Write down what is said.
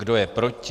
Kdo je proti?